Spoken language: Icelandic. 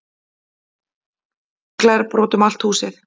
Glerbrot um allt húsið